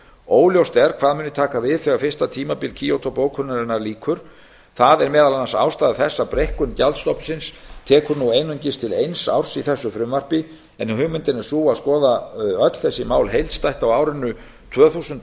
óljóst er hvað muni taka við þegar fyrsta tímabili kyoto bókunarinnar lýkur það er meðal annars ástæða þess að breikkun gjaldstofnsins tekur nú einungis til eins árs í þessu frumvarpi en hugmyndin er sú að skoða öll þessi mál heildstætt á árinu tvö þúsund